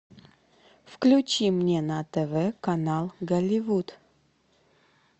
включи мне на тв канал голливуд